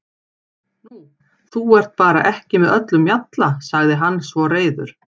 Nú, þú ert bara ekki með öllum mjalla, sagði hann svo reiður.